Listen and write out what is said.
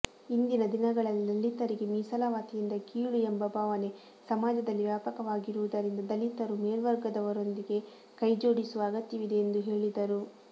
ಇಂದಿನ ದಿನಗಳಲ್ಲಿ ದಲಿತರಿಗೆ ಮೀಸಲಾತಿಯಿಂದ ಕೀಳು ಎಂಬ ಭಾವನೆ ಸಮಾಜದಲ್ಲಿ ವ್ಯಾಪಕವಾಗಿರುವುದರಿಂದ ದಲಿತರು ಮೇಲ್ವರ್ಗದವರೊಂದಿಗೆ ಕೈಜೋಡಿಸುವ ಅಗತ್ಯವಿದೆ ಎಂದು ಹೇಳಿದರು